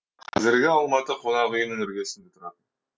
қазіргі алматы қонақүйінің іргесінде тұратын